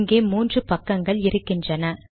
இங்கே மூன்று பக்கங்கள் இருக்கின்றன